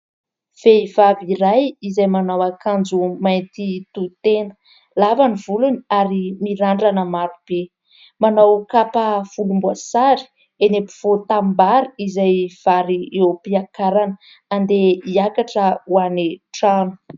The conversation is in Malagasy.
Vehivavy iray izay manao akanjo mainty tohy tena, lava ny volony ary mirandrana marobe. Manao kapa volomboasary eny ampovoan- tanimbary izay vary eo ampiakarana, andeha hiakatra ho any an-trano.